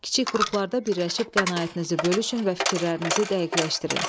Kiçik qruplarda birləşib qənaətinizi bölüşün və fikirlərinizi dəqiqləşdirin.